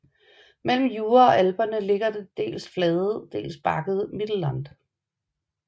Mellem Jura og Alperne ligger det dels flade dels bakkede Mittelland